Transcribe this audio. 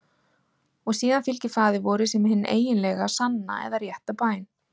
Og síðan fylgir Faðir vorið sem hin eiginlega, sanna eða rétta bæn.